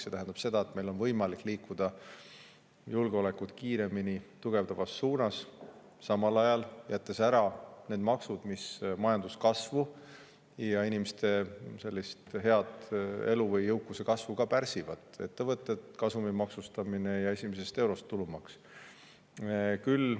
See tähendab seda, et meil on julgeolekut tugevdavas suunas võimalik liikuda kiiremini ja samal ajal ära jätta need maksud, mis majanduskasvu ja inimeste head elu või jõukuse kasvu pärsivad: ettevõtete kasumi maksustamine ja tulumaks esimesest eurost.